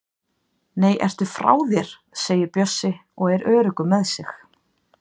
Nei, ertu frá þér! segir Bjössi og er öruggur með sig.